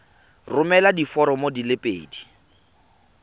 romela diforomo di le pedi